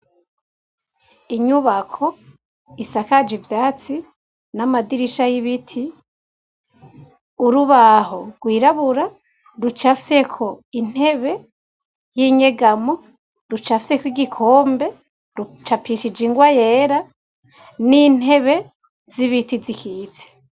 Inyubako isakaje ivyatsi, n'amadirisha y'ibiti. Urubaho gwirabura rucafyeko intebe y'inyegamo, rucafyeko igikombe , rucapishije ingwa yera, n'intebe z'ibiti zikitse.